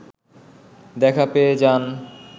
দেখা পেয়ে যান